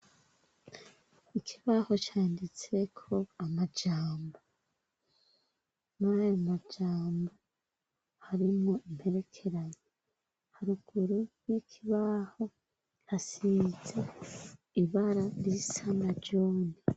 Ikibaho canditseko amajambo, mw'ayomajambo harimwo imperekeranya. Haruguru y'ikibaho hasize ibara risa n'umuhondo.